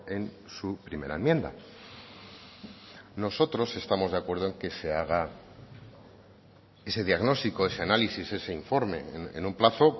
en su primera enmienda nosotros estamos de acuerdo en que se haga ese diagnóstico ese análisis ese informe en un plazo